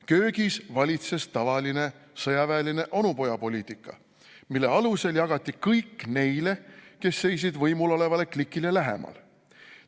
"Köögis valitses tavaline sõjaväeline onupojapoliitika, mille alusel jagati kõik neile, kes seisid võimulolevale klikile lähemal.